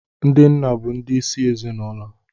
Ndị nna bụ ndi isi ezinụlọ